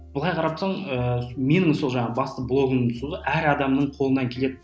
былай қарап тұрсаң ыыы мен сол жаңағы басты блогымның әр адамның қолынан келеді